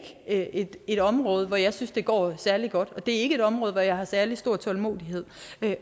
et et område hvor jeg synes det går særlig godt og det er ikke et område hvor jeg har særlig stor tålmodighed